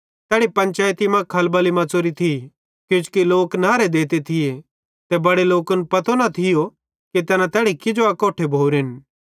तैड़ी पैन्चयती मां खलबली मच़ौरी थी किजोकि किछ लोक नहरे देते थिये ते बड़े लोकन पतो न थियो कि तैना तैड़ी किजो अकोट्ठे भोरेन